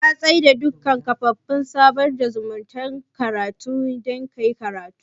Ka tsai da duka kafafen sada zumuntar ka dan kasamu kayi karatu